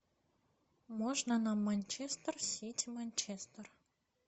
можно нам манчестер сити манчестер